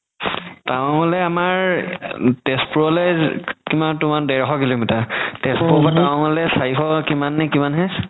হ'লে আমাৰ তেজপুৰলে কিমান দেৰশ kilometer তেজপুৰৰ পৰা town লে চাৰিশ কিমান নে কিমান হে